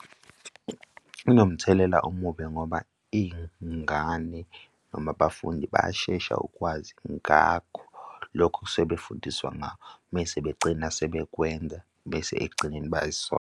Kunomthelela omubi ngoba iy'ngane noma abafundi bayashesha ukwazi ngakho lokho okusuke befundiswa ngako mese bagcina sebekwenza bese ekugcineni bayayisola.